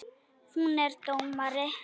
Hún er dómari.